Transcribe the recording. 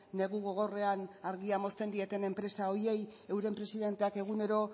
negu gogorrean argia mozten dieten enpresa horiei euren presidenteak egunero